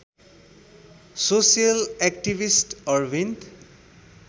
social activist Arvind